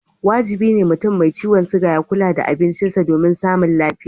Wajibi ne mutum mai ciwon siga ya kula da abincisa domin samun lafiya.